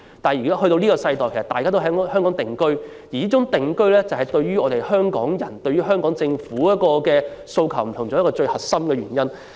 但是，在現今的世代，大家已經在香港定居，這也是香港人對香港政府有不同訴求的最核心原因。